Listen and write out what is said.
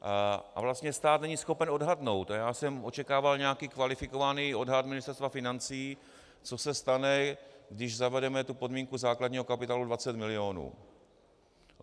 A vlastně stát není schopen odhadnout, a já jsem očekával nějaký kvalifikovaný odhad Ministerstva financí, co se stane, když zavedeme tu podmínku základního kapitálu 20 milionů.